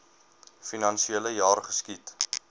finansiele jaar geskied